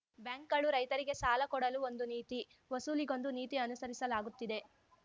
ಬ್ಯಾಂಕ್‌ಗಳು ರೈತರಿಗೆ ಸಾಲ ಕೊಡಲು ಒಂದು ನೀತಿ ವಸೂಲಿಗೊಂದು ನೀತಿ ಅನುಸರಿಸಲಾಗುತ್ತಿದೆ